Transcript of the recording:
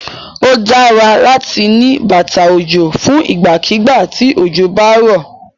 Ó dára láti ní bàtà òjò fún ìgbàkígbà tí òjò bá rọ̀.